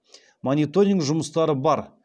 мониторинг жұмыстары бар